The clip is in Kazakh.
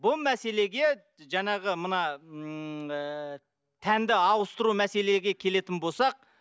бұл мәселеге жаңағы мына ммм тәнді ауыстыру мәселеге келетін болсақ